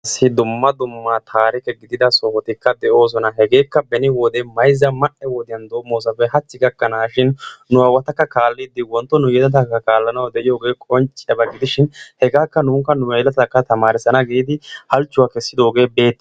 issi dumma dumma taarikke giidida sohottikka de'oosona. hegeekka beni wode mayzza ma'e wodiyaan dommosappe haachchi gakanaashin nu awatakka kaallidi wontto nu yelletaa kaallanaw diyoogee qoncciyaaba gidishin hegaakka nuuni nu yelettaakka taamarissana giidi haalchuwaa keesidoogee beetiyaaba.